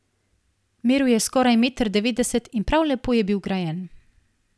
Meril je skoraj meter devetdeset in prav lepo je bil grajen.